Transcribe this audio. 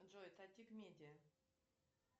джой татик медиа